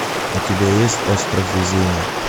у тебя есть остров везения